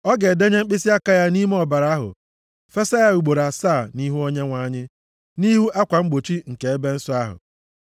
Ọ ga-edenye mkpịsịaka ya nʼime ọbara ahụ, fesa ya ugboro asaa nʼihu Onyenwe anyị, nʼihu akwa mgbochi nke ebe nsọ ahụ.